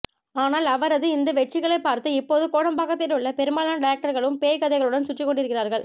ஆனால் அவரது இந்த வெற்றிகளைப்பார்த்து இப்போது கோடம்பாக்கத்திலுள்ள பெரும்பாலான டைரக்டர்களும் பேய் கதைகளுடன் சுற்றிக்கொண்டிருக்கிறார்கள்